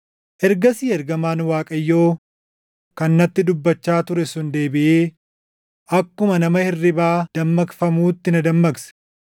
Ergasii ergamaan Waaqayyoo kan natti dubbachaa ture sun deebiʼee akkuma nama hirribaa dammaqfamuutti na dammaqse.